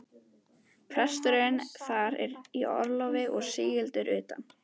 Presturinn þar er í orlofi og sigldur utan.